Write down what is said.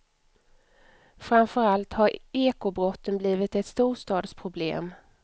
Framför allt har ekobrotten blivit ett storstadsproblem.